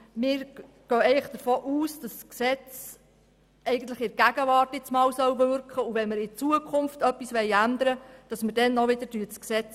Wir gehen davon aus, dass das Gesetz nun zuerst einmal in der Gegenwart wirken soll, und wenn wir zukünftig etwas ändern möchten, dann ändern wir auch wieder das Gesetz.